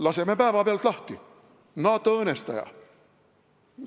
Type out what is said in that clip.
Laseme päevapealt lahti, NATO õõnestaja!